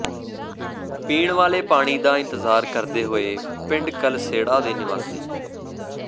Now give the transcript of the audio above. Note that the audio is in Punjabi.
ਪੀਣ ਵਾਲੇ ਪਾਣੀ ਦਾ ਇੰਤਜ਼ਾਰ ਕਰਦੇ ਹੋਏ ਪਿੰਡ ਕਲਸੇੜਾ ਦੇ ਨਿਵਾਸੀ